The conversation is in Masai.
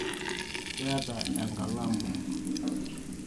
keeta enkalamu